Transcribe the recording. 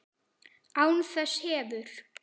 Án þess hefur